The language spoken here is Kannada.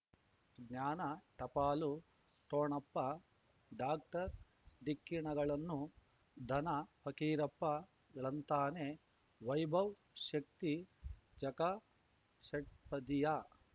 ಜ್ಞಾನ ಟಪಾಲು ಠೊಣಪ ಡಾಕ್ಟರ್ ಢಿಕ್ಕಿ ಣಗಳನು ಧನ ಫಕೀರಪ್ಪ ಳಂತಾನೆ ವೈಭವ್ ಶಕ್ತಿ ಝಗಾ ಷಟ್ಪದಿಯ